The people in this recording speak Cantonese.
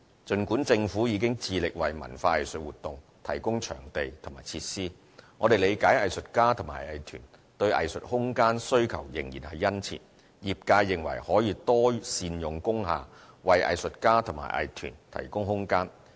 儘管政府已致力為文化藝術活動提供場地和設施，我們理解藝術家和藝團對藝術空間需求仍然殷切，業界認為可多善用工廈，為藝術家和藝團提供空間。